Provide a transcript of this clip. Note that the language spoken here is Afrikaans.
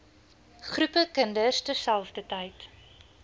groepe kinders terselfdertyd